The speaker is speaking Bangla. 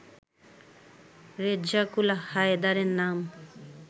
রেজ্জাকুল হায়দারের নাম